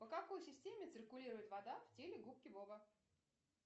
по какой системе циркулирует вода в теле губки боба